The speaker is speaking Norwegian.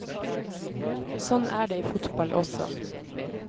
Sånn er det i fotball også.